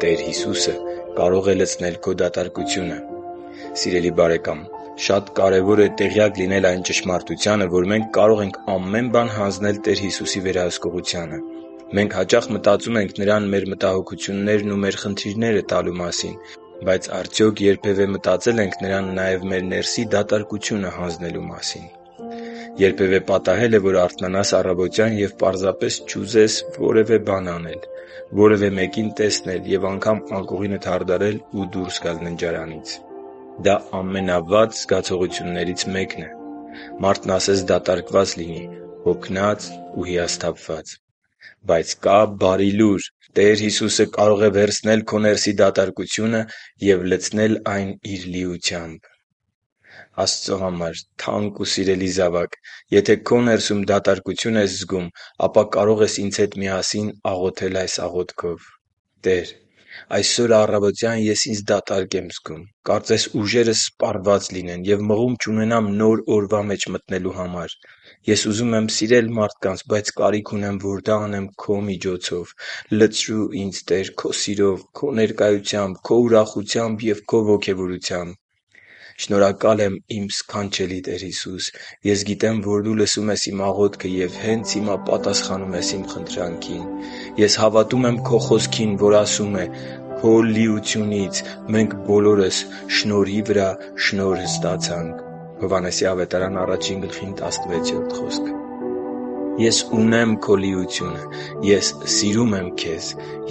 Տեր Հիսուսը կարող է լցնել քո «դատարկությունը» Սիրելի՛ բարեկամ, շատ կարևոր է տեղյակ լինել այն ճշմարտությանը, որ մենք կարող ենք ամեն բան հանձնել Տեր Հիսուսի վերահսկողությանը: Մենք հաճախ մտածում ենք Նրան մեր մտահոգություններն ու մեր խնդիրները տալու մասին: Բայց արդյո՞ք երբևէ մտածել ենք Նրան նաև մեր ներսի դատարկությունը հանձնելու մասին։ Երբևէ պատահե՞լ է, որ արթնանաս առավոտյան և պարզապես չուզես… - Որևէ բան անել, - Որևէ մեկին տեսնել, - Եվ անգամ անկողինդ հարդարել ու դուրս գալ ննջարանից․․․ Դա ամենավատ զգացողություններից մեկն է։ Մարդն ասես դատարկված լինի՝ հոգնած ու հիասթափված։ Բայց կա բարի լուր։ Տեր Հիսուսը կարող է վերցնել քո ներսի դատարկությունը և լցնել այն Իր լիությամբ: Աստծո համար թանկ ու սիրելի՛ զավակ, եթե քո ներսում դատարկություն ես զգում, ապա կարող ես ինձ հետ միասին աղոթել այս աղոթքով. «Տե՛ր, այսօր առավոտյան ես ինձ դատարկ եմ զգում, կարծես ուժերս սպառված լինեն և մղում չունենամ նոր օրվա մեջ մտնելու համար: Ես ուզում եմ սիրել մարդկանց, բայց կարիք ունեմ, որ դա անեմ Քո միջոցով: Լցրո՛ւ ինձ, Տե՛ր, Քո սիրով, Քո ներկայությամբ, Քո ուրախությամբ և Քո ոգևորությամբ: Շնորհակալ եմ, իմ սքանչելի Տեր Հիսուս… Ես գիտեմ, որ Դու լսում ես իմ աղոթքը և հենց հիմա պատասխանում ես իմ խնդրանքին: Ես հավատում եմ Քո Խոսքին, որ ասում է. «Քո լիությունից մենք բոլորս շնորհի վրա շնորհը ստացանք» (Հովհաննես 1.16) ։ Ես ունեմ քո լիությունը: Ես սիրում եմ Քեզ,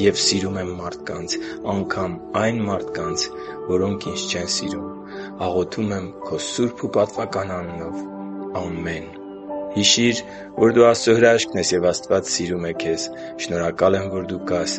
և սիրում եմ մարդկանց․․․ անգամ այն մարդկանց, որոնք ինձ չեն սիրում: Աղոթում եմ քո սուրբ ու պատվական անունով։ Ամե՛ն»։ Հիշի՛ր, որ դու Աստծո հրաշքն ես, և Աստված սիրում է քեզ։ Շնորհակալ եմ, որ դու կա՛ս